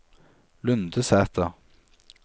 Lundersæter